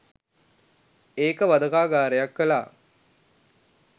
ඒක වධකාගාරයක් කලා.